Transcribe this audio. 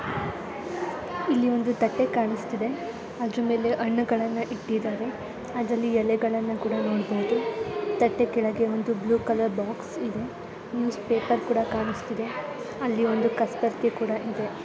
ಇಲ್ಲಿ ಒಂದು ತಟ್ಟೆ ಕಾಣಿಸ್ತಿದೆ ಅದರಗಳ ಮೇಲೆ ಹಣ್ಣುಗಳನ್ನಾ ಇಟ್ಟಿದ್ದಾರೆ ಅದ್ರಲ್ಲಿ ಎಳೆಗಳನ್ನಾ ಕೂಡ ನೋಡಬಹುದು ತಟ್ಟೆ ಕೆಳಗೆ ಒಂದು ಬ್ಲೂ ಕಲರ್ ಬಾಕ್ಸ್ ಕೂಡ ಇದೆ ನ್ಯೂಸ್ ಪೇಪರ್ ಕೂಡ ಕಾಣಿಸ್ತಿದೆ ಅಲ್ಲಿ ಒಂದು ಕಸದ ಬರಿಕೆ ಕೂಡ ಕಾಣಿಸ್ತಿದೆ.